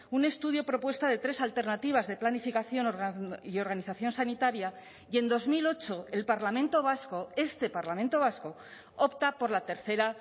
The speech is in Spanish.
un estudio propuesta de tres alternativas de planificación y organización sanitaria y en dos mil ocho el parlamento vasco este parlamento vasco opta por la tercera